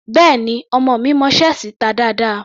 Béẹ̀ni, ọmọ mi mọ ṣẹ́ẹ̀sì ta dáadáa.